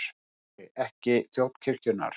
SKÚLI: Ekki þjón kirkjunnar.